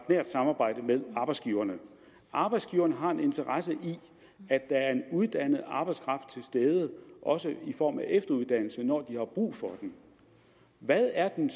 nært samarbejde med arbejdsgiverne arbejdsgiverne har en interesse i at der er en uddannet arbejdskraft til stede også i form af efteruddannede når de har brug for den hvad er den